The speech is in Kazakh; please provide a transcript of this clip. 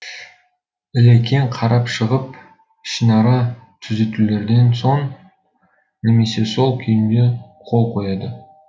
ілекең қарап шығып ішінара түзетулерден соң немесе сол күйінде қол қояды